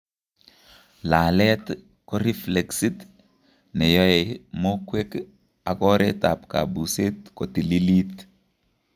Laalet ko reflexit neyoe mokwek ak oreet ab kabuset kotililit